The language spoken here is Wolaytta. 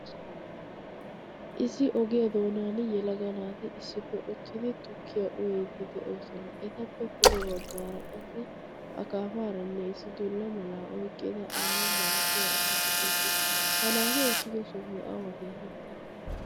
Issi ogiyaa doonaan yelaga naati issippe uttidi tukkiyaa uyiidi de'oosona etappe pude baggaara qasi akaafaaranne dullaaranne oyqqida issi aawa malatiyaa asi de; eesi ha nati uttido sohayy awa geetetii?